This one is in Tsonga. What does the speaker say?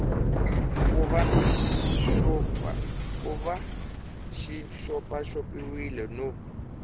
ku va xi xopaxopiwile no